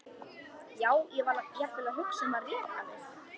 Já, ég var jafnvel að hugsa um að reka þig.